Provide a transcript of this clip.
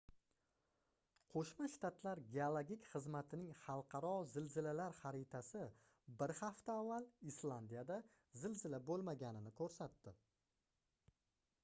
qoʻshma shtatlar geologik xizmatining xalqaro zilzilalar xaritasi bir hafta avval islandiyada zilzila boʻlmaganini koʻrsatdi